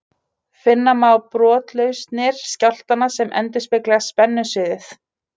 Finna má brotlausnir skjálftanna sem endurspegla spennusviðið.